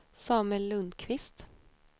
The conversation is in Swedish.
Samuel Lundqvist